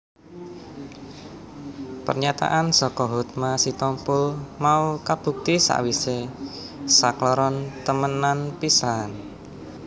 Pernyataan saka Hotma Sitompul mau kabukti sawisé sakloron temenan pisahan